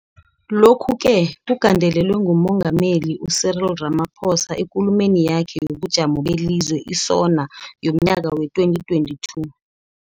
Lokhu-ke kugandelelwe nguMengameli u-Cyril Ramaphosa eKulumeni yakhe yobuJamo beliZwe, i-SoNA, yomNyaka wee-2022.